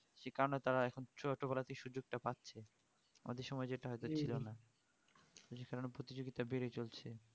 যে কেন তারা এখন সুযোকটা পাচ্ছে আমাদের সময় যেটা হতো ছিলনা প্রতি সেকেন্ডে প্রতিযোগিতা বেড়েছে চলছে